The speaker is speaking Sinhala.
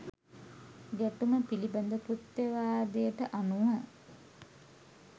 ගැටුම පිළිබඳ කෘත්‍යවාදයට අනුව